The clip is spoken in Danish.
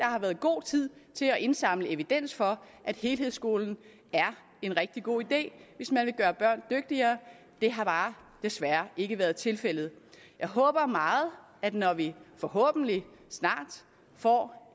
har været god tid til at indsamle evidens for at helhedsskolen er en rigtig god idé hvis man vil gøre børn dygtigere det har desværre ikke været tilfældet jeg håber meget at når vi forhåbentlig snart får